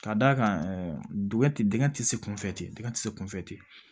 Ka d'a kan ɛɛ dingɛ ti dingɛ tɛ se kunfɛ ten dingɛ tɛ se kunfɛ ten